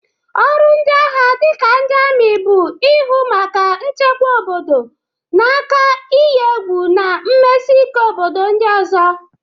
Ọrụ ndị agha dịka ndị amị, bụ ihụ maka nchekwa obodo n'aka iyi egwu na mmesike obodo ndị ọzọ.